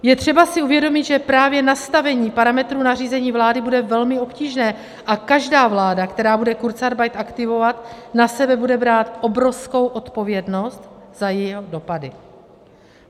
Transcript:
Je třeba si uvědomit, že právě nastavení parametrů nařízení vlády bude velmi obtížné a každá vláda, která bude kurzarbeit aktivovat, na sebe bude brát obrovskou odpovědnost za jeho dopady.